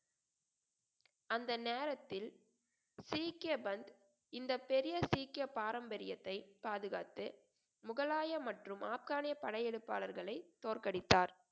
அந்த நேரத்தில் சீக்கிய பந்த் இந்த பெரிய சீக்கிய பாரம்பரியத்தை பாதுகாத்து முகலாய மற்றும் ஆப்கானிய படையெடுப்பாளர்களை தோற்கடித்தார்